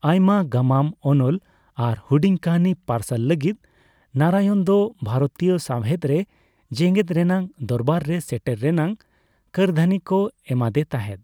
ᱟᱭᱢᱟ ᱜᱟᱢᱟᱢ, ᱚᱱᱚᱞ, ᱟᱨ ᱦᱩᱰᱤᱧ ᱠᱟᱹᱦᱱᱤ ᱯᱟᱨᱥᱟᱞ ᱞᱟᱹᱜᱤᱫ ᱱᱟᱨᱟᱭᱚᱱ ᱫᱚ ᱵᱷᱟᱨᱚᱛᱤᱭᱚ ᱥᱟᱣᱦᱮᱫ ᱨᱮ ᱡᱮᱜᱮᱫ ᱨᱮᱱᱟᱜ ᱫᱚᱨᱵᱟᱨ ᱨᱮ ᱥᱮᱴᱮᱨ ᱨᱮᱱᱟᱜ ᱠᱟᱹᱨᱫᱷᱟᱹᱱᱤ ᱠᱚ ᱮᱢᱟᱫᱮ ᱛᱟᱦᱮᱫ ᱾